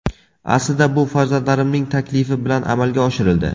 Aslida bu farzandlarimning taklifi bilan amalga oshirildi.